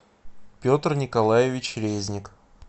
петр николаевич резник